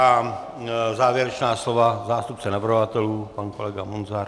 A závěrečná slova zástupce navrhovatelů - pan kolega Munzar.